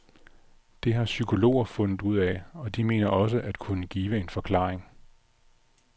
Det har psykologer har fundet ud af, og de mener også at kunne give en forklaring.